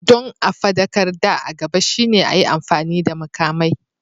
Don a faɗakar da a gaba shine a yi amfani da makamai.